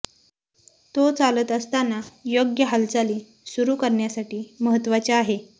तो चालत असताना योग्य हालचाली सुरू करण्यासाठी महत्वाचे आहे